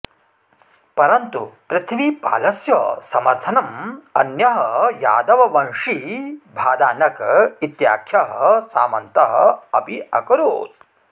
परन्तु पृथ्वीपालस्य समर्थनम् अन्यः यादववंशी भादानक इत्याख्यः सामन्तः अपि अकरोत्